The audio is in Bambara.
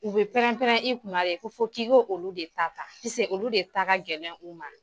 U bɛ prɛnprɛn i kunna de, ko fɔ k'i k'olu de ta ta, olu de taa gɛlɛn u ma!